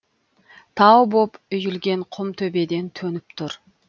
тау боп үйілген құм төбеден төніп тұр